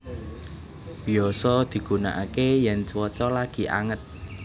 Biyasa digunakaké yèn cuaca lagi anget